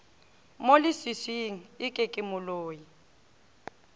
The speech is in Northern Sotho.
mo leswiswing eke ke moloi